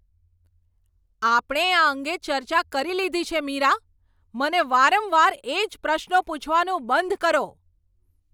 આપણે આ અંગે ચર્ચા કરી લીધી છે મીરા! મને વારંવાર એ જ પ્રશ્નો પૂછવાનું બંધ કરો.